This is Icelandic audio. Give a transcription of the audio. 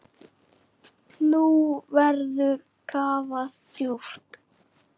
Nú verður kafað djúpt.